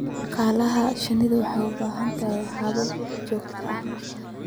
Xannaanada shinnidu waxay u baahan tahay habab joogto ah.